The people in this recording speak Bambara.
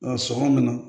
Nka sɔngɔ nana